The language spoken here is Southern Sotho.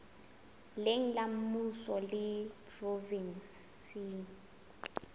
leng la mmuso le provenseng